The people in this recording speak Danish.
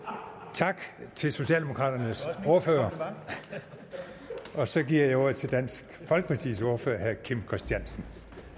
tak til socialdemokraternes ordfører så giver jeg ordet til dansk folkepartis ordfører herre kim christiansen